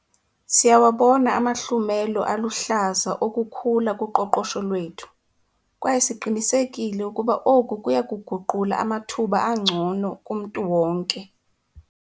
Siyawabona amahlumelo aluhlaza okukhula kuqoqosho lwethu, kwaye siqinisekile ukuba oku kuya kuguqula amathuba angcono kumntu wonke.